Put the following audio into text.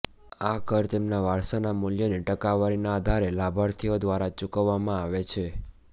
આ કર તેમના વારસાના મૂલ્યની ટકાવારીના આધારે લાભાર્થીઓ દ્વારા ચૂકવવામાં આવે છે